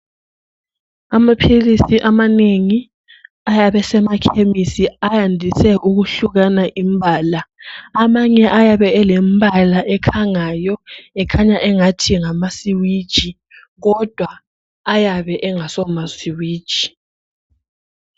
Amaphilisi amanengi ayabe esemakhemisi ayandise ukuhlukana imbala. Amanye ayabe elembala ekhangayo ekhanya angathi ngamasiwiji kodwa ayabe engaso masiwiji.